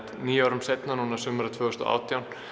níu árum seinna sumarið tvö þúsund og átján